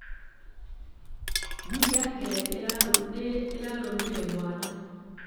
Ngui yake nĩ ĩrarũmire mwana.